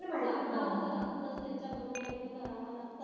सांगावं तर लागतंच त्यांच्या बरोबरीने करावं लागतं.